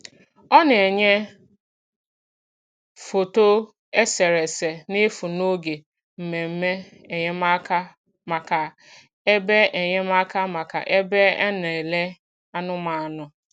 Ọ na-enyè foto eserese n’efu n’oge mmemme enyemáka maka ebe enyemáka maka ebe e na-elè anụ̀manụ̀.